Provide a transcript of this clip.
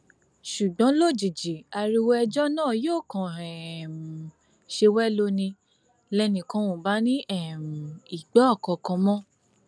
ṣùgbọn lójijì ariwo ẹjọ náà yóò kàn um ṣe wẹlo ni lẹnìkan ò bá ní um í gbọ nǹkan kan mọ